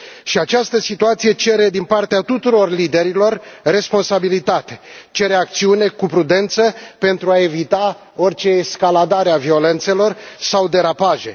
Și această situație cere din partea tuturor liderilor responsabilitate, cere acțiune cu prudență, pentru a evita orice escaladare a violențelor sau derapaje.